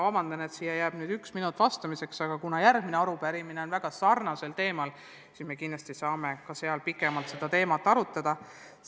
Vabandust, et mul on jäänud vaid üks minut vastamiseks, aga kuna järgmine arupärimine on väga sarnasel teemal, siis me kindlasti saame selle ajal pikemalt seda teemat arutada.